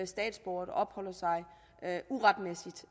statsborgere der opholder sig uretmæssigt